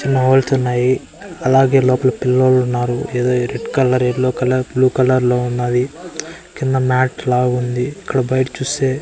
ఉన్నాయి అలాగే లోపల పిల్లోలు ఉన్నారు ఏదో red colour yellow colour blue colour లో ఉన్నది కింద మ్యాట్ లా ఉంది ఇక్కడ బయట చూస్తే --